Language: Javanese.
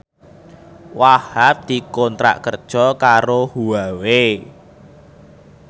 Wahhab dikontrak kerja karo Huawei